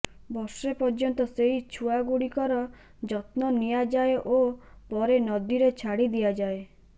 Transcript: ବର୍ଷେ ପର୍ଯ୍ୟନ୍ତ ସେହି ଛୁଆଗୁଡ଼ିକର ଯତ୍ନ ନିଆଯାଏ ଓ ପରେ ନଦୀରେ ଛାଡ଼ି ଦିଆଯାଏ